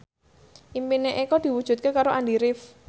impine Eko diwujudke karo Andy rif